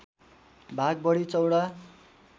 भाग बढी चौडा